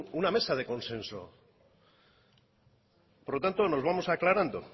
una mesa de consenso por lo tanto nos vamos aclarando